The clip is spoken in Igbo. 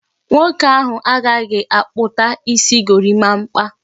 Nwoke ahụ agaghị akpụta isi Gorimapa